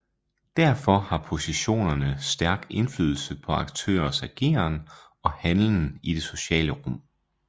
Derfor har positionerne stærk indflydelse på aktørers ageren og handlen i det sociale rum